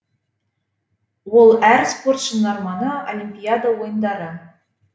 ол әр спортшының арманы олимпиада ойындары